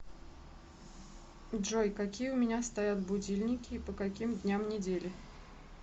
джой какие у меня стоят будильники и по каким дням недели